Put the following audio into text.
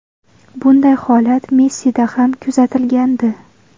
Bunday holat Messida ham kuzatilgandi.